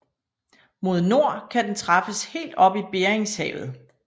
Mod nord kan den træffes helt op i Beringshavet